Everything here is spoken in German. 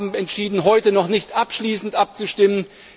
Wir haben entschieden, heute noch nicht abschließend abzustimmen.